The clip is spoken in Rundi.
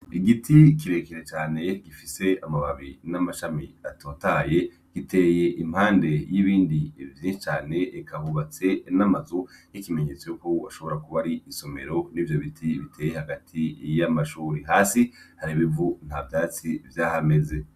Igiti kire kire cane gifise amababi n'amashami atotaye, giteye impande y'ibindi vyinshi cane. Eka hubatse n'amazu n'ikimenyetso yuko hashobora kuba ari isomero, n'ivyo biti biteye hagati y'amashure. Hasi hari ibivu ntavyatsi vyahameze.